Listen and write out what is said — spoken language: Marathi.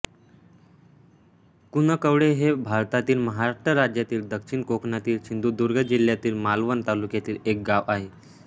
कुणकवळे हे भारतातील महाराष्ट्र राज्यातील दक्षिण कोकणातील सिंधुदुर्ग जिल्ह्यातील मालवण तालुक्यातील एक गाव आहे